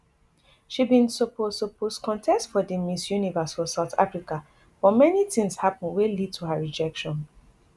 she bin suppose suppose contest for di miss universe for south africa but many tins happun wey lead to her rejection